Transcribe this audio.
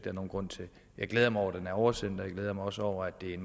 er nogen grund til jeg glæder mig over at oversendt og jeg glæder mig også over at det er